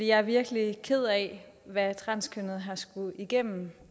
jeg virkelig er ked af hvad transkønnede har skullet gå igennem